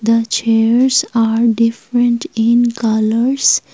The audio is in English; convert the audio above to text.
the chairs are different in colours.